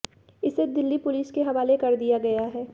इसे दिल्ली पुलिस के हवाले कर दिया गया है